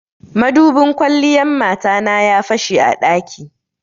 Madubin kwalliyan mata na ya fashe a ɗaki.